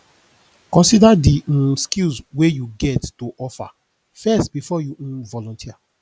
consider di um skills wey you get to offer first before you um volunteer